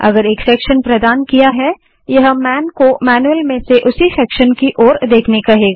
यदि एक सेक्शन प्रदान किया है यह मैन को मैन्यूअल में से उसी सेक्शन की ओर देखने के लिए कहेगा